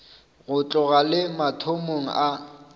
go tloga le mathomong a